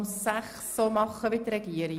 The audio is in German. – Das ist der Fall, also stimmen wir ab.